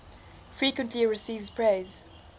frequently receives praise